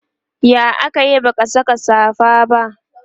ya akayi baka Saka safa ba?